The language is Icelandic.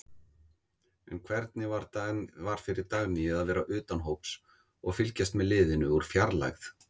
En hvernig var fyrir Dagnýju að vera utan hóps og fylgjast með liðinu úr fjarlægð?